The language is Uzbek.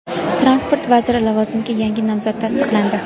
Transport vaziri lavozimiga yangi nomzod tasdiqlandi.